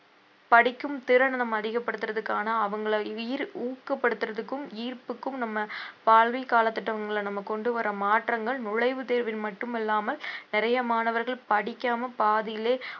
படிக்கும் திறனை நம்ம அதிகப்படுத்துறதுக்கான அவங்கள ஈர்~ ஊக்கப்படுத்துறதுக்கும் ஈர்ப்புக்கும் நம்ம கால திட்டங்களை நம்ம கொண்டு வர்ற மாற்றங்கள் நுழைவுத் தேர்வில் மட்டுமல்லாமல் நிறைய மாணவர்கள் படிக்காம பாதியிலே